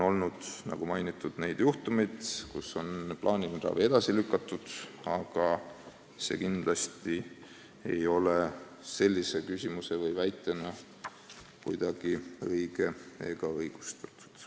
Nagu mainitud, on olnud juhtumeid, kus on plaaniline ravi edasi lükatud, aga küsimuses toodud väide kindlasti ei ole õige ega õigustatud.